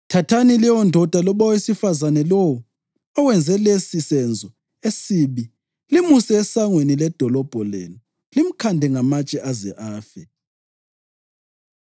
thathani leyondoda loba owesifazane lowo owenze lesi senzo esibi limuse esangweni ledolobho lenu limkhande ngamatshe aze afe.